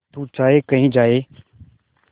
तू चाहे कही जाए